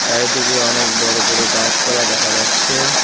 চারিদিকে অনেক বড়ো বড়ো গাছপালা দেখা যাচ্ছে।